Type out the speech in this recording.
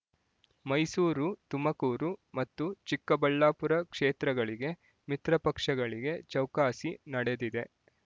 ಮೈಸೂರು ತುಮಕೂರು ಮತ್ತು ಚಿಕ್ಕಬಳ್ಳಾಪುರ ಕ್ಷೇತ್ರಗಳಿಗೆ ಮಿತ್ರ ಪಕ್ಷಗಳಿಗೆ ಚೌಕಾಸಿ ನಡೆದಿದೆ